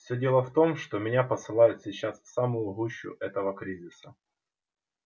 всё дело в том что меня посылают сейчас в самую гущу этого кризиса